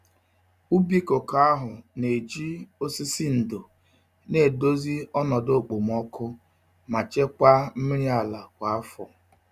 Ubi koko ahụ na-eji osisi ndò na-edozi ọnọdụ okpomọkụ ma chekwaa mmiri ala kwa afọ.